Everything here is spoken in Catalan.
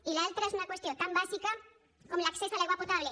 i l’altra és una qüestió tan bàsica com l’accés a l’aigua potable